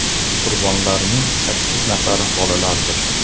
Qurbonlarning sakkiz nafari bolalardir.